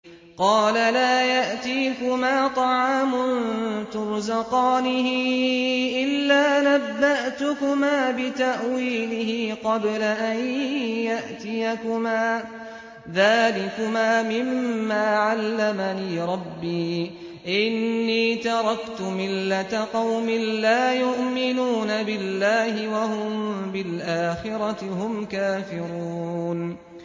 قَالَ لَا يَأْتِيكُمَا طَعَامٌ تُرْزَقَانِهِ إِلَّا نَبَّأْتُكُمَا بِتَأْوِيلِهِ قَبْلَ أَن يَأْتِيَكُمَا ۚ ذَٰلِكُمَا مِمَّا عَلَّمَنِي رَبِّي ۚ إِنِّي تَرَكْتُ مِلَّةَ قَوْمٍ لَّا يُؤْمِنُونَ بِاللَّهِ وَهُم بِالْآخِرَةِ هُمْ كَافِرُونَ